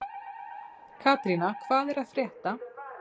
Katrína, hvað er að frétta?